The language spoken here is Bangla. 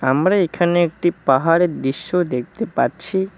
আমরা এখানে একটি পাহাড়ের দৃশ্য দেখতে পাচ্ছি।